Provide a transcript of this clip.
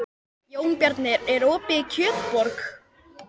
Jónbjarni, er opið í Kjötborg?